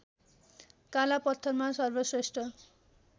काला पत्थरमा सर्वश्रेष्ठ